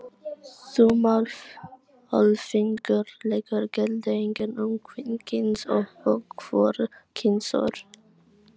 Þumalfingursreglur gilda einnig um kvenkyns- og hvorugkynsorð.